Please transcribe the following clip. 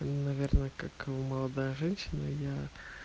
наверное как молодая женщина я